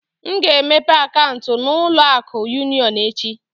M ga-emepe akaụntụ na ụlọ akụ union echi